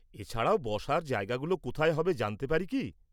এছাড়াও, বসার জায়গাগুলো কোথায় হবে জানতে পারি কি?